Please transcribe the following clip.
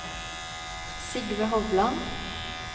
Sigve Hovland